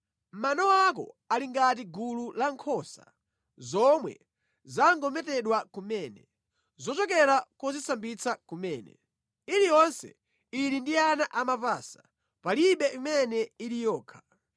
Mano ako ali ngati gulu la nkhosa zomwe zangometedwa kumene, zochokera kozisambitsa kumene. Iliyonse ili ndi ana amapasa; palibe imene ili yokha.